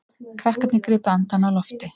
Krakkarnir gripu andann á lofti.